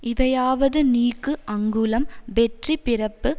இவையாவது நீக்கு அங்குளம் வெற்றி பிறப்பு